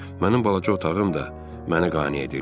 Mənim balaca otağım da mənə qane edirdi.